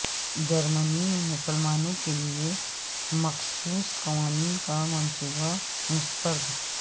جرمنی میں مسلمانوں کے لیے مخصوص قوانین کا منصوبہ مسترد